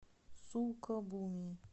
сукабуми